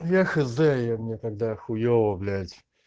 я хз мне тогда хуёво блять